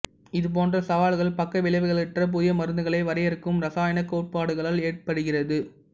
இதுபோன்ற சவால்கள் பக்க விளைவுகளற்ற புதிய மருந்துகளை வரையறுக்கும் இரசாயனக் கோட்பாடுகளால் ஏற்படுகிறது